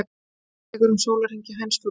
Ferlið tekur um sólarhring hjá hænsfuglum.